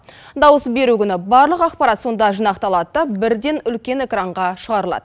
дауыс беру күні барлық ақпарат сонда жинақталады да бірден үлкен экранға шығарылады